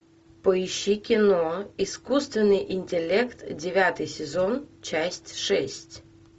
поищи кино искусственный интеллект девятый сезон часть шесть